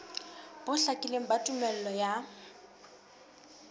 bo hlakileng ba tumello ya